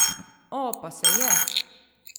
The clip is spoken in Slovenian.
O, pa se je!